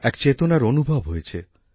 এক চেতনার অনুভব হয়েছে